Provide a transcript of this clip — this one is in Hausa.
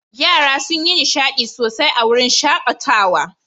Yara sun yi nishaɗi sosai a wurin shaƙatawa.